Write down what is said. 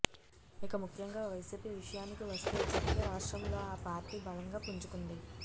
ఇక ముఖ్యంగా వైసీపీ విషయానికి వస్తే ఇప్పటికే రాష్ట్రంలో ఆ పార్టీ బలంగా పుంజుకుంది